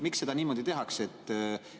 Miks seda niimoodi tehakse?